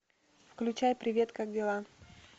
включай привет как дела